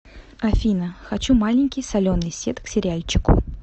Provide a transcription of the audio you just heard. афина хочу маленький соленый сет к сериальчику